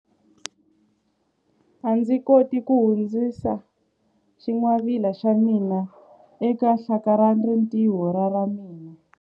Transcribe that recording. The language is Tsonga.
A ndzi koti ku hundzisa xingwavila xa mina eka hlakalarintiho ra ra mina.